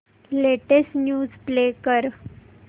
latest news play कर